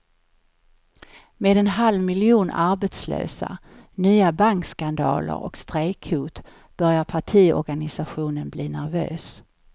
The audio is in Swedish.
Med en halv miljon arbetslösa, nya bankskandaler och strejkhot börjar partiorganisationen bli nervös.